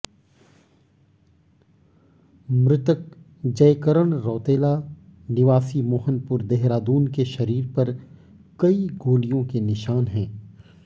मृतक जय करण रौतेला निवासी मोहनपुर देहरादून के शरीर पर कई गोलियों के निशान हैं